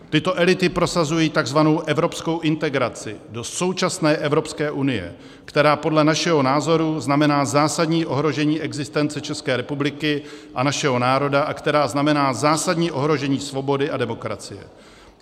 Tyto elity prosazují tzv. evropskou integraci do současné Evropské unie, která podle našeho názoru znamená zásadní ohrožení existence České republiky a našeho národa a která znamená zásadní ohrožení svobody a demokracie.